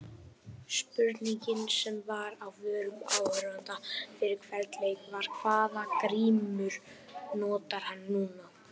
Spurningin sem var á vörum áhorfenda fyrir hvern leik var- hvaða grímu notar hann núna?